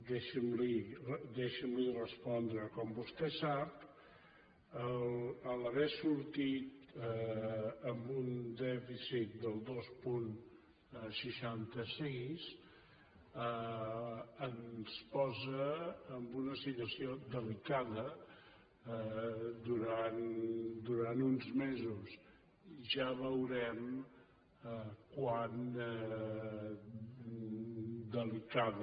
deixi’m respondre li com vostè sap haver sortit amb un dèficit del dos coma seixanta sis ens posa en una situació delicada durant uns mesos ja veurem com de delicada